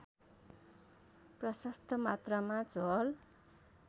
प्रशस्त मात्रामा झोल